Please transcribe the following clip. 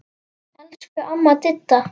Elsku amma Didda.